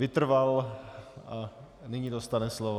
Vytrval a nyní dostane slovo.